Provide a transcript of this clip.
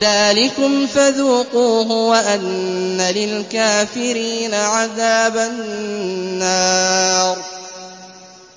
ذَٰلِكُمْ فَذُوقُوهُ وَأَنَّ لِلْكَافِرِينَ عَذَابَ النَّارِ